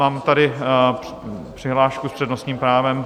Mám tady přihlášku s přednostním právem.